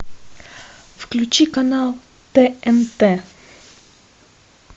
включи канал тнт